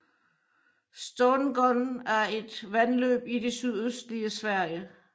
Stångån er et vandløb i det sydøstlige Sverige